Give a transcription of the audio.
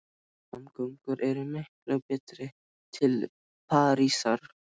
Samgöngur eru miklu betri til Parísar.